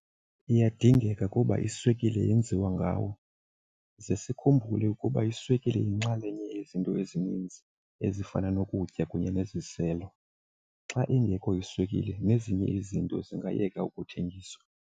Iyadingeka kuba iswekile yenziwa ngawo, ze sikhumbule ukuba iswekile yinxalenye yezinto ezininzi ezifana nokutya kunye neziselo. Xa ingekho iswekile nezinye izinto zingayiyeka ukuthengiswa.